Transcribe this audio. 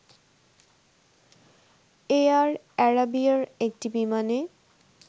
air এ্যারাবিয়ার একটি বিমানে